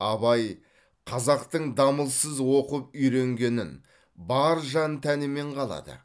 абай қазақтың дамылсыз оқып үйренгенін бар жан тәнімен қалады